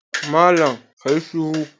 Malam ka yi shiru!